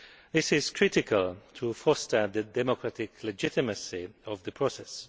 It is crucial to foster the democratic legitimacy of the process.